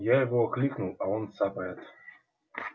я его окликнул а он цапает